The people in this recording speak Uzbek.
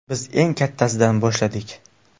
Biz eng kattasidan boshladik.